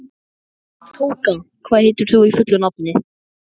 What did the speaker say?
Tóka, hvað heitir þú fullu nafni?